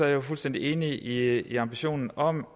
jeg fuldstændig enig i i ambitionen om